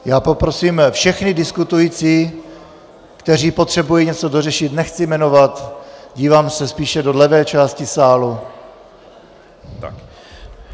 Já poprosím všechny diskutující, kteří potřebují něco dořešit, nechci jmenovat, dívám se spíše do levé části sálu.